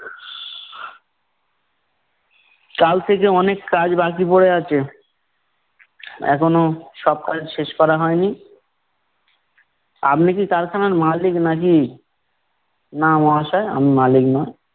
কাল থেকে অনেক কাজ বাকি পরে আছে। এখনো সব কাজ শেষ করা হয় নি। আপনি কি কারখানার মালিক নাকি? না মহাশয়, আমি মালিক না।